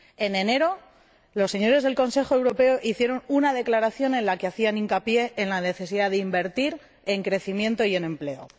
En enero los señores del Consejo Europeo hicieron una declaración en la que hacían hincapié en la necesidad de invertir en crecimiento y en empleo.